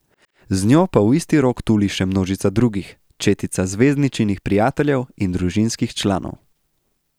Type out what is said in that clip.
Z njo pa v isti rog tuli še množica drugih, četica zvezdničinih prijateljev in družinskih članov.